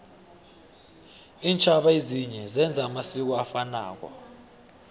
intjhaba ezinye zenza amasiko afanako